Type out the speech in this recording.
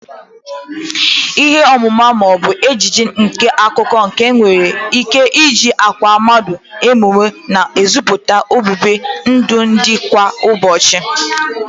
Ihe omume ma o bu ejije n'akụkọ nke e nwere ike iji akwa mmadu emu na eziputa obibi ndụ ndi kwa ụbochị.